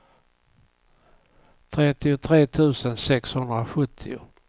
trettiotre tusen sexhundrasjuttio